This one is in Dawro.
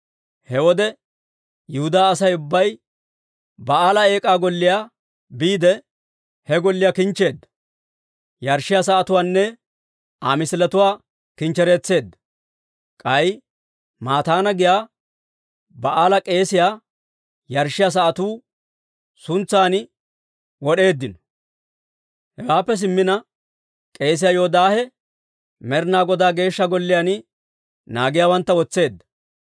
He wode Yihudaa Asay ubbay Ba'aala Eek'aa Golliyaa biide, he golliyaa kinchcheedda; yarshshiyaa sa'atuwaanne Aa misiletuwaa kinchchereetseedda. K'ay Mataana giyaa Ba'aala k'eesiyaa yarshshiyaa sa'atuu sintsan wod'eeddino. Hewaappe simmina, k'eesiyaa Yoodaahe Med'ina Godaa Geeshsha Golliyaan naagiyaawantta wotseedda.